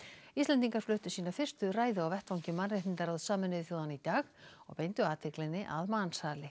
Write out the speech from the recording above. Íslendingar fluttu sína fyrstu ræðu á vettvangi mannréttindaráðs Sameinuðu þjóðanna í dag og beindu athyglinni að mansali